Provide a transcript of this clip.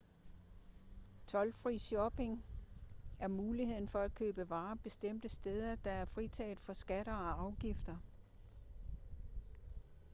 toldfri shopping er muligheden for at købe varer bestemte steder der er fritaget for skatter og afgifter